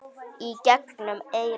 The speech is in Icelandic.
Í gegnum eyrun.